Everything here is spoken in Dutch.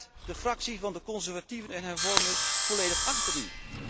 Dan staat de Fractie Europese Conservatieven en Hervormers volledig achter